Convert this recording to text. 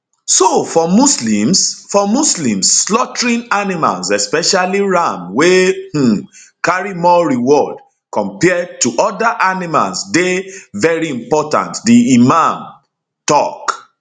so for muslims for muslims slaughtering animals especially ram wey um carry more reward compared to oda animals dey veri important di imam tok